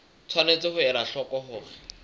tshwanetse ho ela hloko hore